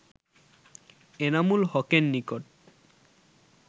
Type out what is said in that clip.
এনামুল হকের নিকট